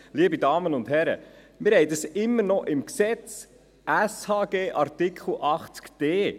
Liebe Damen und Herren, dies ist immer noch im Gesetz über die öffentliche Sozialhilfe (Sozialhilfegesetz, SHG), in Artikel 80d!